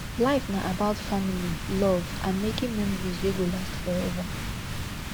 life na about family love and making memories wey go last forever